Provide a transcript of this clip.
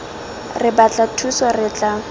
re batla thuso re tla